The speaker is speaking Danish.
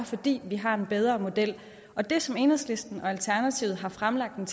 fordi vi har en bedre model og det som enhedslisten og alternativet har fremlagt et